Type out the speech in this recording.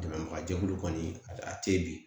Dɛmɛbagajɛkulu kɔni a tɛ bi